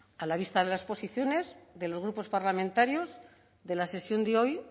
a la vista de las posiciones de los grupos parlamentarios de la sesión de hoy